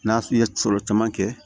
N'a tun ye fɔlɔ caman kɛ